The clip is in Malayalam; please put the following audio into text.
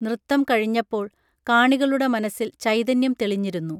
നൃത്തം കഴിഞ്ഞപ്പോൾ കാണികളുടെ മനസിൽ ചൈതന്യം തെളിഞ്ഞിരുന്നു